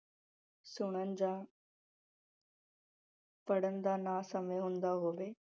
ਸੁਣਨ ਜਾਂ ਪੜਨ ਦਾ ਨਾ ਸਮਾਂ ਹੁੰਦਾ ਹੋਵੇ।